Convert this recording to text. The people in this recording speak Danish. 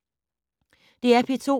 DR P2